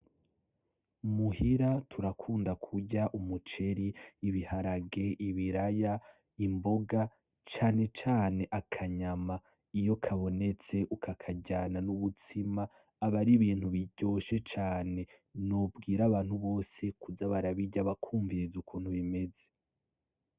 Muhira turakunda kurya umuceri, ibiharage , ibiraya, imboga cane cane akanyama iyo kabonetse ukukaryana n'ubutsima aba ari ibintu biryoshe cane, nobwira abantu bose kuza bararya bakumviriza ukuntu bimeze.